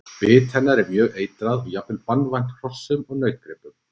Bit hennar er mjög eitrað og jafnvel banvænt hrossum og nautgripum.